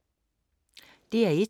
DR1